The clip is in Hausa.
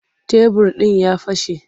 Tebir ɗin ya fashe.